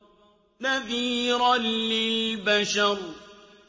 نَذِيرًا لِّلْبَشَرِ